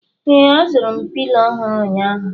Ee, azụrụ m Pilo ọhụrụ ụnyaahụ